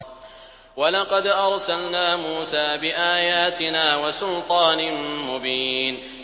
وَلَقَدْ أَرْسَلْنَا مُوسَىٰ بِآيَاتِنَا وَسُلْطَانٍ مُّبِينٍ